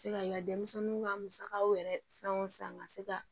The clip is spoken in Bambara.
Se ka denmisɛnninw ka musakaw yɛrɛ fɛnw san ka se ka